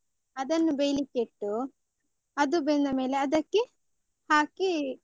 ಅದನ್ನು ಬೆಯ್ಲಿಕ್ಕೆ ಇಟ್ಟು, ಅದು ಬೆಂದ ಮೇಲೆ ಅದಕ್ಕೆ ಹಾಕಿ.